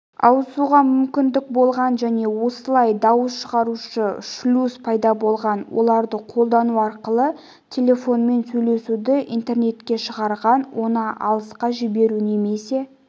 ауысуға мүмкіндік болған және осылай дауыс шығарушы шлюз пайда болған оларды қолдану арқылы телефонмен сөйлесуді интернетке шығарған оны алысқа жіберу немесе